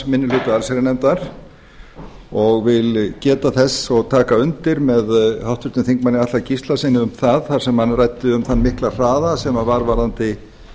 minni hluta allsherjarnefndar og vil geta þess og taka undir með háttvirtum þingmanni atla gíslasyni um það þar sem hann ræddi um þann mikla hraða sem varð varðandi